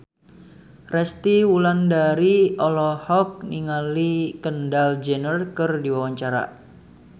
Resty Wulandari olohok ningali Kendall Jenner keur diwawancara